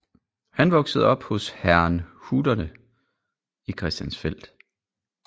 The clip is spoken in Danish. Han voksede op hos herrnhuterne i Christiansfeld